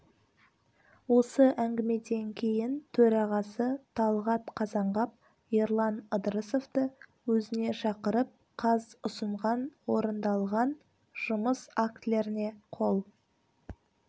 осы әңгімеден кейін төрағасы талғат қазанғап ерлан ыдырысовты өзіне шақырып қаз ұсынған орындалған жұмыс актілеріне қол